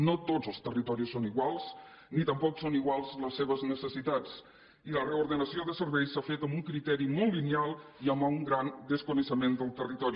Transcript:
no tots els territoris són iguals ni tampoc són iguals les seves necessitats i la reordenació de serveis s’ha fet amb un criteri molt lineal i amb un gran desconeixement del territori